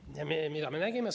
Mida me aga nägime?